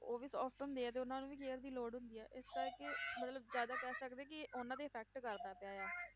ਉਹ ਵੀ soft ਹੁੰਦੇ ਆ, ਤੇ ਉਹਨਾਂ ਨੂੰ ਵੀ care ਦੀ ਲੋੜ ਹੁੰਦੀ ਹੈ, ਇਸ ਕਰਕੇ ਮਤਲਬ ਜ਼ਿਆਦਾ ਕਹਿ ਸਕਦੇ ਕਿ ਉਹਨਾਂ ਤੇ effect ਕਰਦਾ ਪਿਆ ਆ,